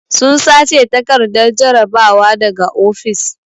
Sun sace takardar jarabawa daga ofis.